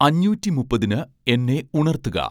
അഞ്ഞൂറ്റി മുപ്പതിന് എന്നെ ഉണർത്തുക